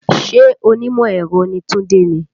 Ṣé onímọ̀ ẹ̀rọ ni Tunde ni?